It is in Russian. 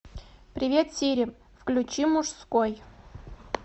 привет сири включи мужской